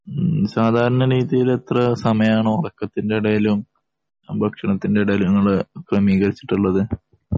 സാധാരണ എത്ര സമയാണ് ഉറക്കത്തിന്റെ ഇടയിലും ഭക്ഷണത്തിന്റെ ഇടയിലും നിങ്ങൾ ക്രമീകരിച്ചിട്ടുള്ളത്